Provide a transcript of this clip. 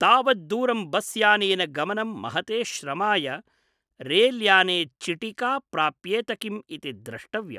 तावद्दूरं बस्यानेन गमनं महते श्रमाय रेल्याने चिटिका प्राप्येत किम् इति द्रष्टव्यम् ।